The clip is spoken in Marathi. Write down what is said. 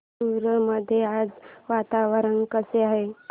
देऊर मध्ये आज वातावरण कसे आहे